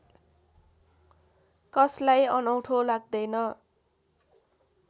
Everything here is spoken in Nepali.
कसलाई अनौठो लाग्दैन